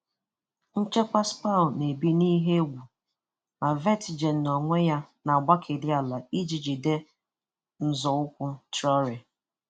Nchekwa Spur na-ebi n'ihe egwu, ma Vertinghen n'ọnwe ya na-agbakeri ala iji jide nzọụkwụ Traore.